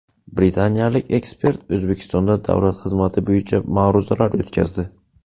Britaniyalik ekspert O‘zbekistonda davlat xizmati bo‘yicha ma’ruzalar o‘tkazdi.